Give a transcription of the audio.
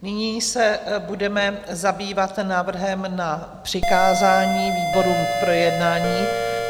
Nyní se budeme zabývat návrhem na přikázání výborům k projednání.